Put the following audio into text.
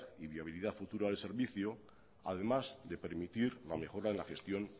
y viabilidad futura al servicio además de permitir la mejora de la gestión